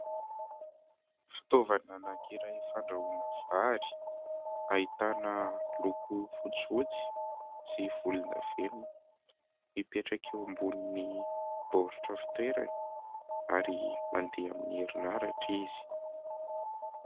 Fitaovana anankiray fandrahoana vary ahitana loko fotsifotsy sy volondavenina. Mipetraka eo ambonin'ny baoritra fitoerany ary mandeha amin'ny herinaratra izy.